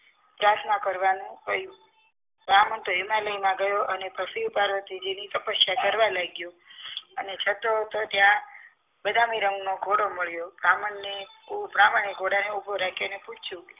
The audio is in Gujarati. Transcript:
પ્રાર્થના કરવાનું કહ્યું બ્રાહ્મણ તો હિમાલયમાં ગયો અને શિવ પાર્વતીજી ની તપસ્યા કરવા લાગ્યો અને ચતો હતો ત્યાં બદામી રંગનો ઘોડો મળ્યો બ્રાહ્મણને બ્રાહ્મણને ઘોડાને ઊભો રાખ્યો અને પુછ્યું